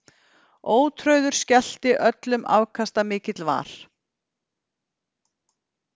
Ótrauður skellti öllum afkastamikill var.